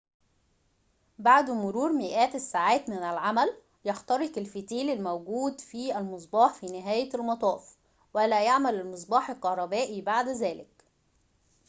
بعد مرور مئات الساعات من العمل يحترق الفتيل الموجود في المصباح في نهاية المطاف ولا يعمل المصباح الكهربائي بعد ذلك